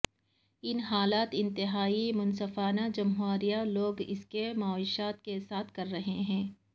ان حالات انتہائی منصفانہ جمہوری لوگ اس کی معیشت کے ساتھ کر رہے ہیں